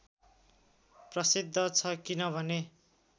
प्रसिद्ध छ किनभने